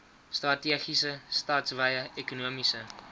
strategiese stadswye ekonomiese